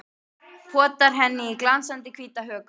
Potar henni í glansandi hvíta hökuna.